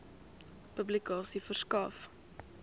publikasie verskaf